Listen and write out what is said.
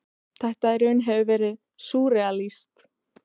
Þetta hefur í raun verið„ súrrealískt“.